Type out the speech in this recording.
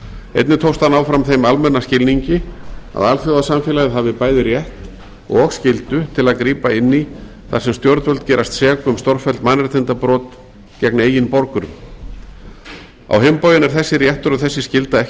einnig tókst að ná fram þeim almenna skilningi að alþjóðasamfélagið hafi bæði rétt og skyldu til að grípa inn í þar sem stjórnvöld gerast sek um stórfelld mannréttindabrot gegn eigin borgurum á hinn bóginn er þessi réttur og þessi skylda ekki